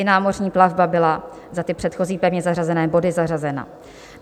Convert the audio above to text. I námořní plavba byla za ty předchozí pevně zařazené body zařazena.